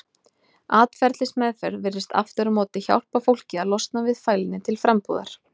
Atferlismeðferð virðist aftur á móti hjálpa fólki að losna við fælni til frambúðar.